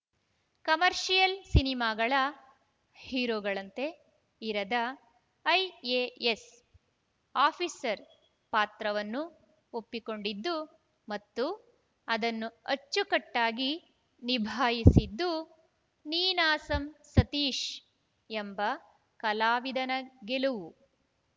commercial ಸಿನಿಮಾಗಳ ಹೀರೋಗಳಂತೆ ಇರದ ಐಎಎಸ್‌ ಆಫೀಸರ್‌ ಪಾತ್ರವನ್ನು ಒಪ್ಪಿಕೊಂಡಿದ್ದು ಮತ್ತು ಅದನ್ನು ಅಚ್ಚುಕಟ್ಟಾಗಿ ನಿಭಾಯಿಸಿದ್ದು ನೀನಾಸಂ ಸತೀಶ್‌ ಎಂಬ ಕಲಾವಿದನ ಗೆಲುವು